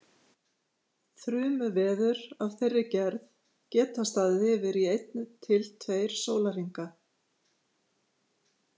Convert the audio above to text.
Þrumuveður af þeirri gerð geta staðið yfir í einn til tveir sólarhringa.